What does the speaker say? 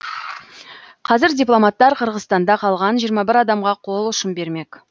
қазір дипломаттар қырғызстанда қалған жиырма бір адамға қол ұшын бермек